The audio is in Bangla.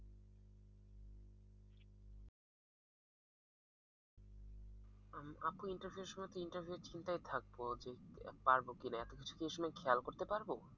আপু interview এর সময় তো interview এর চিন্তায় থাকব যে পারবো কিনা এতকিছু কি আসলে খেয়াল করতে পারব?